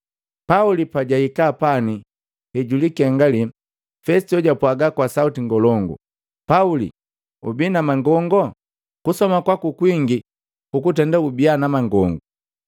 Pauli pajaika pani hejulikengali, Fesito japwaga kwa sauti ngolongu, “Pauli! Ubi na mangongo! Kusoma kwaku kwingi kukutenda ubia na mangongu!”